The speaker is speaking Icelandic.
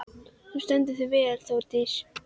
Þú stendur þig vel, Þórdís!